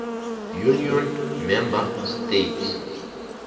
union member states